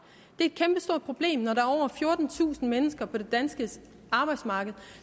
er et kæmpestort problem når der er over fjortentusind mennesker på det danske arbejdsmarked